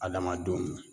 Adamadenw